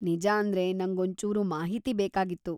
ನಿಜಾಂದ್ರೆ, ನಂಗೊಂಚೂರು ಮಾಹಿತಿ ಬೇಕಾಗಿತ್ತು.